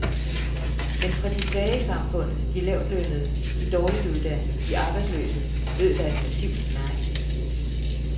Men fra de svage i samfundet, de lavtlønnede, de dårligt uddannede, de arbejdsløse, lød der et massivt nej.